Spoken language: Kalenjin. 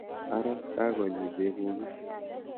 Ara kakonyi bekuk is?